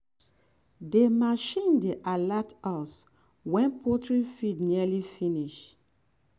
the machine dey alert us wen poultry feed nearly finish.